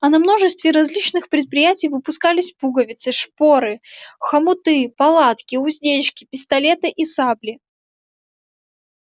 а на множестве различных предприятий выпускались пуговицы шпоры хомуты палатки уздечки пистолеты и сабли